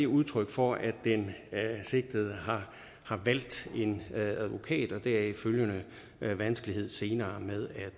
udtryk for at den sigtede har valgt en advokat og deraf følgende vanskelighed senere med at